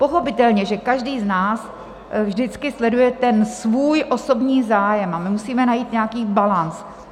Pochopitelně, že každý z nás vždycky sleduje ten svůj osobní zájem, a my musíme najít nějaký balanc.